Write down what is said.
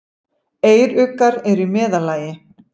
Eyruggar eru í meðallagi.